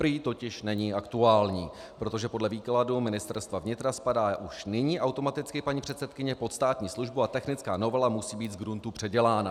Prý totiž není aktuální, protože podle výkladu Ministerstva vnitra spadá už nyní automaticky paní předsedkyně pod státní službu a technická novela musí být zgruntu předělána.